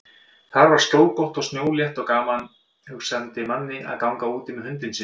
Þar var skjólgott og snjólétt og gaman hugsandi manni að ganga úti með hundinn sinn.